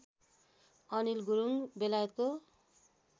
अनिल गुरुङ बेलायतको